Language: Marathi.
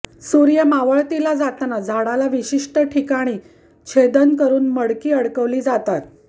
सूर्य मावळतीला जाताना झाडाला विशिष्ट ठिकाणी छेदन करून मडकी अडकवली जातात